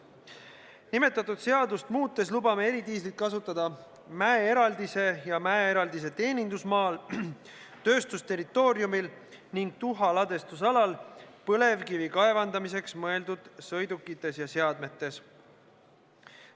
Nimetatud seadust muutes lubame ettevõtjal eridiislit kasutada oma mäeeraldisel ja mäeeraldise teenindusmaal, tööstusterritooriumil ning tuha ladestamise alal põlevkivi kaevandamiseks mõeldud sõidukites ja seadmetes.